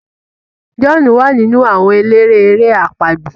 John wá nínú àwọn eléré èrè àpagbè.